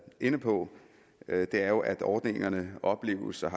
inde på er jo at ordningerne opleves og